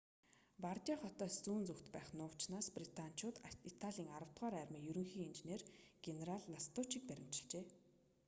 бардиа хотоос зүүн зүгт байх нуувчнаас британичууд италийн аравдугаар армийн ерөнхий инженер генерал ластуччийг баривчилжээ